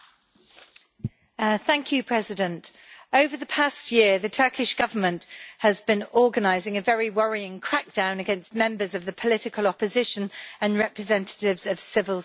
Mr President, over the past year the Turkish Government has been organising a very worrying crackdown against members of the political opposition and representatives of civil society.